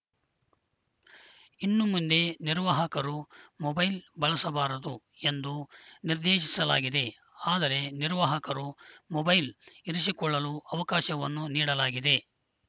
ಇನ್ನು ಮುಂದೆ ನಿರ್ವಾಹಕರು ಮೊಬೈಲ್‌ ಬಳಸಬಾರದು ಎಂದು ನಿರ್ದೇಶಿಸಲಾಗಿದೆ ಆದರೆ ನಿರ್ವಾಹಕರು ಮೊಬೈಲ್‌ ಇರಿಸಿಕೊಳ್ಳಲು ಅವಕಾಶವನ್ನು ನೀಡಲಾಗಿದೆ